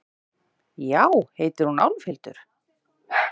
Já, heitir hún Álfhildur?